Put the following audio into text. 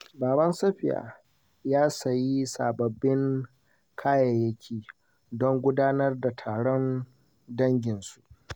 Baban Safiya ya sayi sababbin kayayyaki don gudanar da taron danginsu.